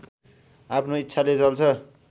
आफ्नो इच्छाले चल्छ